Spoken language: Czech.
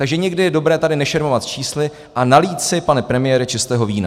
Takže někdy je dobré tady nešermovat čísly a nalít si, pane premiére, čistého vína.